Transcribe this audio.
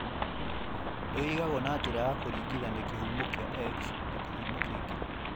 Nĩ ũigagwo na njĩra ya kũringithania kĩhumo kĩa X na kĩhumo kĩngĩ.